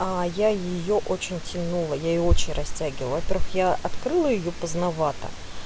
а я её очень тянула я её очень растягивала во-первых я открыла её поздновато